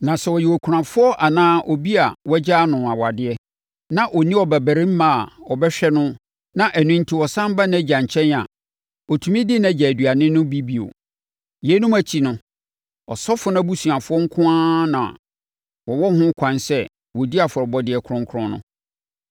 Na sɛ ɔyɛ okunafoɔ anaa obi a wɔagyaa no awadeɛ na ɔnni babarima a ɔbɛhwɛ no na ɛno enti ɔsane ba nʼagya nkyɛn a, ɔtumi di nʼagya aduane no bi bio. Yeinom akyi no, asɔfoɔ no abusuafoɔ nko ara na wɔwo ho kwan sɛ wɔdi afɔrebɔdeɛ kronkron no.